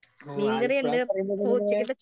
ഓ ആലപ്പുഴാന്ന് പറയുമ്പത്തന്നിങ്ങനെ.